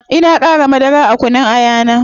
Ina qara madara a kunun aya na